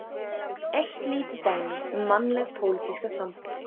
Eitt lítið dæmi um mannlega og pólitíska sambúð.